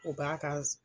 U b'a kan